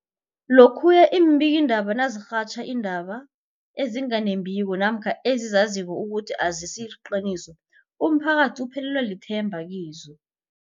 Lokhuya iimbikiindaba nazirhatjha iindaba ezinga nembiko namkha ezizaziko ukuthi azisiliqiniso, umphakathi uphelelwa lithemba kizo.